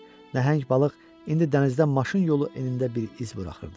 Nəhəng balıq indi dənizdə maşın yolu enində bir iz buraxırdı.